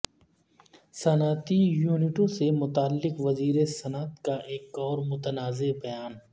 صنعتی یونٹوں سے متعلق وزیر صنعت کا ایک اور متنازعہ بیان